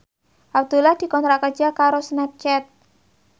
Abdullah dikontrak kerja karo Snapchat